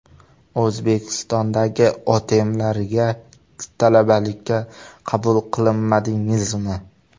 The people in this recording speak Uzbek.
O‘zbekistondagi OTMlariga talabalikka qabul qilinmadingizmi?